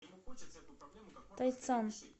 тайцан